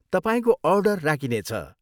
तपाईँको अर्डर राखिनेछ।